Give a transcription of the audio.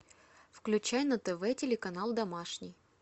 включай на тв телеканал домашний